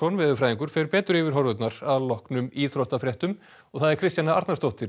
veðurfræðingur fer betur yfir horfurnar að loknum íþróttafréttum Kristjana Arnarsdóttir